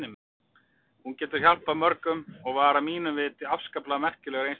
Hún gat hjálpað mörgum og var að mínu viti afskaplega merkilegur einstaklingur.